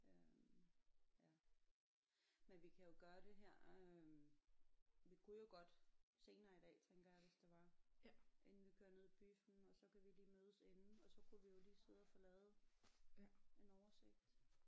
Øh ja men vi kan jo gøre det her øh vi kunne jo godt senere i dag tænker jeg hvis det var inden vi kører ned i biffen og så kan vi lige mødes inden og så kunne vi jo lige sidde og få lavet en oversigt